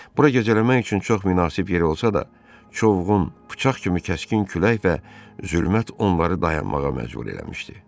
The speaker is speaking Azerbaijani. Bura gecələmək üçün çox münasib yer olsa da, çovğun, bıçaq kimi kəskin külək və zülmət onları dayanmağa məcbur eləmişdi.